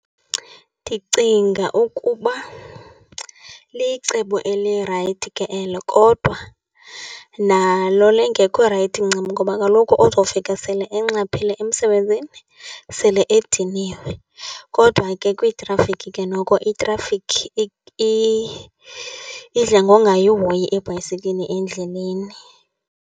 Ndicinga ukuba licebo elirayithi ke elo kodwa nalo lingekho rayithi ncam ngoba kaloku uzofika sele enxaphile emsebenzini, sele ediniwe. Kodwa ke kwiitrafikhi ke, noko itrafikhi idla ngongayihoyi ibhayisekile endleleni.